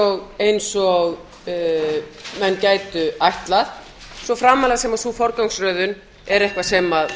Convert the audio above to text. og menn gætu ætlað svo framarlega sem sú forgangsröðun er eitthvað sem